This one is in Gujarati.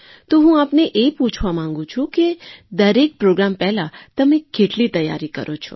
તો હું આપને એ પૂછવા માગું છું કે દરેક પ્રૉગ્રામ પહેલાં તમે કેટલી તૈયારી કરો છો